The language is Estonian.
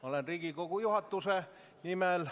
Olen Riigikogu juhatuse nimel ...